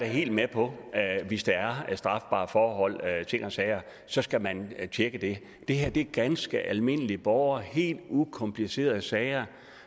helt med på at hvis der er strafbare forhold og ting og sager så skal man tjekke det det her er ganske almindelige borgere helt ukomplicerede sager